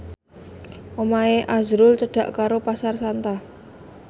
omahe azrul cedhak karo Pasar Santa